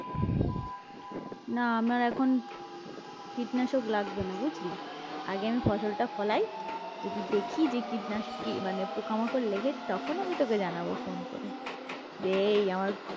না আমার এখন কীটনাশক লাগবে না বুঝলি? আগে আমি ফসলটা ফলাই যদি দেখি মানে পোকামাকড় লেগেছে তখন আমি তোকে জানাবো phone করে যে এই আমার